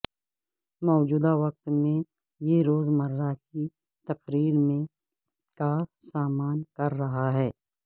موجودہ وقت میں یہ روزمرہ کی تقریر میں کا سامنا کر رہا ہے